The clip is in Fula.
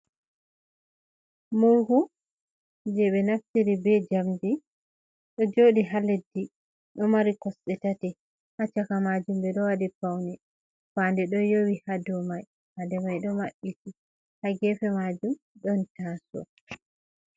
Murhu je ɓe naftiri be njamdi, ɗo joɗi ha leddi ɗo Mari Kosɗe tati, ha caka majum ɓe ɗo wadi Paune. Fande ɗo yowi ha domai fande mai ɗo Mabɓiti ha gefe majum ɗon taso'o.